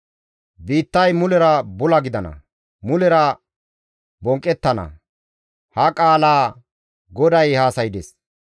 Biittay mulera bula gidana; mulera bonqqettana; ha qaalaa GODAY haasaydes.